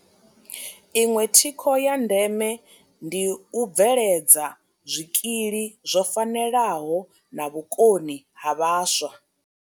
Iṅwe thikho ya ndeme ndi u bveledza zwikili zwo fanelaho na vhukoni ha vhaswa.